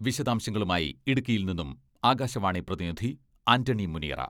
വിശദാംശങ്ങളുമായി ഇടുക്കിയിൽ നിന്നും ആകാശവാണി പ്രതിനിധി ആന്റണി മുനിയറ......